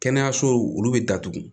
Kɛnɛyasow olu bɛ datugu